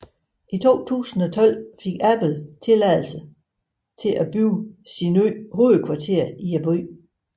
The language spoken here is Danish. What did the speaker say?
I 2012 fik Apple tilladelse til at bygge sit nye hovedkvarter i byen